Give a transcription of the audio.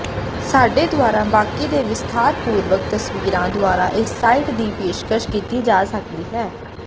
ਸਾਡੇ ਦੁਆਰਾ ਬਾਕੀ ਦੇ ਵਿਸਥਾਰਪੂਰਵਕ ਤਸਵੀਰਾਂ ਦੁਆਰਾ ਇਸ ਸਾਈਟ ਦੀ ਪੇਸ਼ਕਸ਼ ਕੀਤੀ ਜਾ ਸਕਦੀ ਹੈ